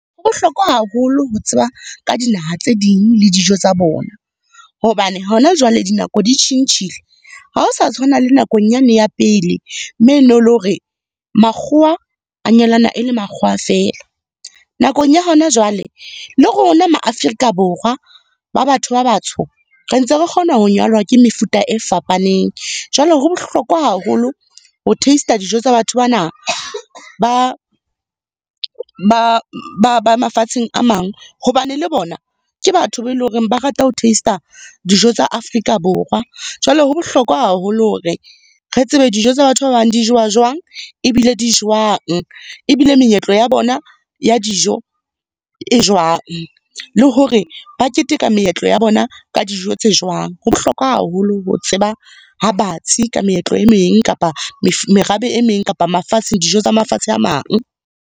Ho bohlokwa haholo ho tseba ka dinaha tse ding le dijo tsa bona. Hobane hona jwale dinako di tjhentjhile ha o sa tshwana le nakong yane ya pele, me ne le hore makgowa a nyalana e le makgowa feela. Nakong ya hona jwale le rona ma Afrika Borwa ba batho ba batsho, re ntse re kgona ho nyalwa ke mefuta e fapaneng. Jwale ho bohlokwa haholo ho taste-a dijo tsa batho bana ba ba ba mafatsheng a mang. Hobane le bona ke batho ba e leng hore ba rata ho taste-a dijo tsa Afrika Borwa. Jwale ho bohlokwa haholo hore re tsebe dijo tsa batho ba bang di jowa jwang, ebile di jwang. Ebile meetlo ya bona ya dijo, e jwang. Le hore ba keteka meetlo ya bona ka dijo tse jwang. Ho bohlokwa haholo ho tseba ha batsi ka meetlo e meng kapa merabe e meng kapa mafatsheng, dijo tsa mafatshe a mang.